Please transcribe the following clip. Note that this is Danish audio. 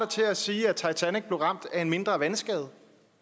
til at sige at titanic blev ramt af en mindre vandskade